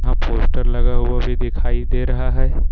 यहां पोस्टर लगा हुआ भी दिखाई दे रहा है।